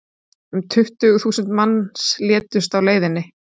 um tuttugu þúsund manns létust á leiðinni